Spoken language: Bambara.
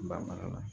Ba mara la